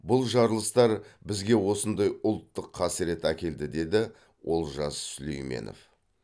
бұл жарылыстар бізге осындай ұлттық қасірет әкелді деді олжас сүлейменов